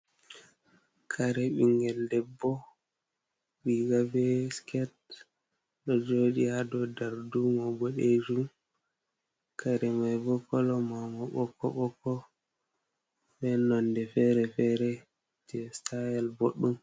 Kare ɓinngel debbo, riiga bee siket, ɗo jooɗi ha dow darduuma boɗeejum. Kare mai bo kala mai bo ɓokko-ɓokko, be nonde feere-feere, jee sitail boɗɗum.